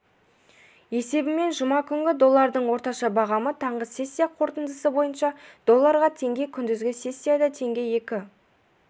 есебімен жұма күні доллардың орташа бағамы таңғы сессия қорытындысы бойынша долларға теңге күндізгі сессияда теңге екі